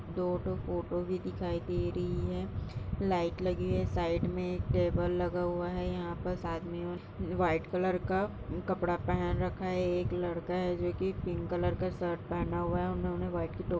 दो ठो फोटो भी दिखाई दे रहा है लाइट लगी है साइड में टेबल लगा हुआ है । यहाँ पर आदमियों ने व्हाइट कलर का कपड़ा पहन रखा है । एक लड़का है जो पिंक कलर का शर्ट पहना है । उन्होंने व्हाइट की टो --